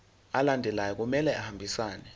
alandelayo kumele ahambisane